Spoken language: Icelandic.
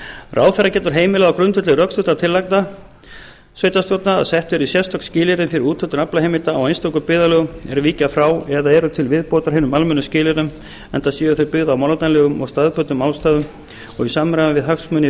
ráðherra getur heimilað á grundvelli rökstuddra tillagna sveitarstjórnar að sett verði sérstök skilyrði fyrir úthlutun aflaheimilda í einstökum byggðarlögum er víkja frá eða eru til viðbótar hinum almennu skilyrðum enda séu þau byggð á málefnalegum og staðbundnum ástæðum og í samræmi við hagsmuni